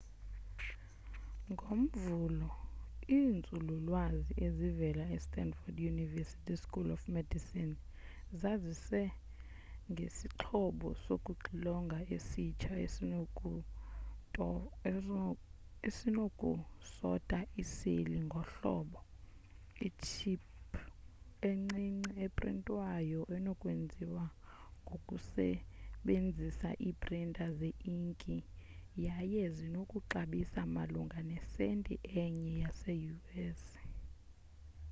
ngomvulo iinzululwazi ezivela estandford university school of medicine zazise ngesixhobo sokuxilonga esitsha esinoku sota iiseli ngohlobo itship encinci eprintwayo enokwenziwa ngokusebenzisa iiprinta ze inki yaye zinokuxabisa malunga nesenti enye yase u.s